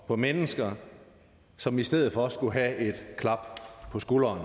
på mennesker som i stedet for skulle have et klap på skulderen